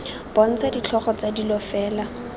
bontsha ditlhogo tsa dilo fela